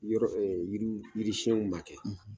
U yɔrɔ yiri yirisiyɛnw ma kɛ